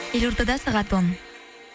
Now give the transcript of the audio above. елордада сағат он